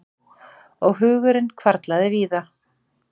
Og hugurinn hvarflaði víða.